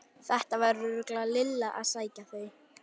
Þetta var örugglega Lilla að sækja þau.